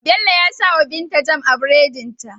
Bello ya sawa binta jam a buredin ta